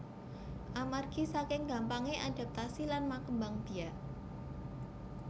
Amargi saking gampangé adaptasi lan makembang biak